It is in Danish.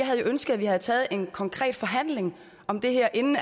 have ønsket at vi havde taget en konkret forhandling om det her inden